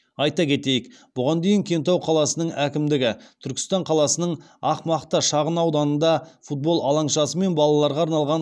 айта кетейік бұған дейін кентау қаласының әкімдігі түркістан қаласының ақ мақта шағын ауданында футбол алаңшасы мен балаларға арналған